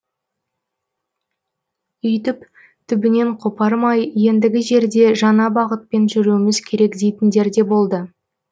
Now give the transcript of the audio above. өйтіп түбінен қопармай ендігі жерде жаңа бағытпен жүруіміз керек дейтіндер де болды